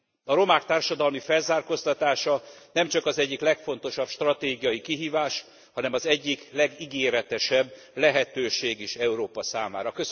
A romák társadalmi felzárkóztatása nem csak az egyik legfontosabb stratégiai kihívás, hanem az egyik legígéretesebb lehetőség is Európa számára.